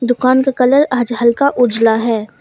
दुकान का कलर आज हल्का उझला है।